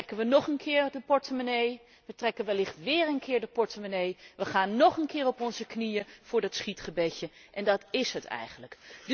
Dan trekken we nog een keer de portemonnee, we trekken wellicht wéér een keer de portemonnee, we gaan nóg een keer op onze knieën voor het schietgebedje en dat is het eigenlijk.